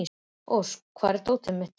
Ósk, hvar er dótið mitt?